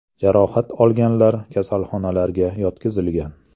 Jarohat olganlar kasalxonalarga yotqizilgan.